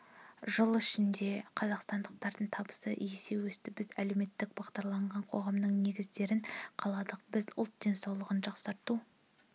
жыл ішінде қазақстандықтардың табысы есе өсті біз әлеуметтік бағдарланған қоғамның негіздерін қаладық біз ұлт денсаулығын жақсарту